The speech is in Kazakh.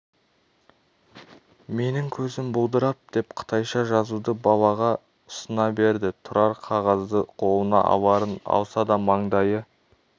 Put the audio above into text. менің көзім бұлдырап деп қытайша жазуды балаға ұсына берді тұрар қағазды қолына аларын алса да маңдайы